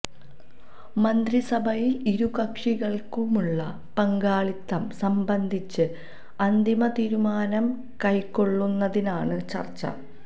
മന്ത്രിസഭയില് ഇരു കക്ഷികള്ക്കുമുള്ള പങ്കാളിത്തം സംബന്ധിച്ച് അന്തിമ തീരുമാനം കൈക്കൊള്ളുന്നതിനാണ് ചര്ച്ച